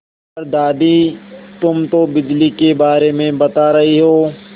पर दादी तुम तो बिजली के बारे में बता रही हो